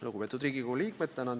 Lugupeetud Riigikogu liikmed!